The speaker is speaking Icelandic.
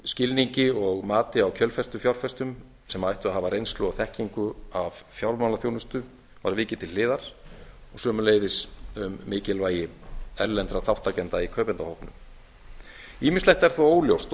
skilningi og mati á kjölfestufjárfestum sem ættu að hafa reynslu og þekkingu af fjármálaþjónustu var vikið til hliðar og sömuleiðis um mikilvægi erlendra þátttakenda í kaupendahópnum ýmislegt er þó óljóst og